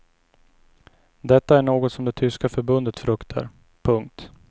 Detta är något som det tyska förbundet fruktar. punkt